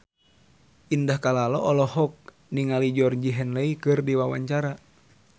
Indah Kalalo olohok ningali Georgie Henley keur diwawancara